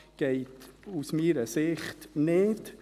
Das geht aus meiner Sicht nicht.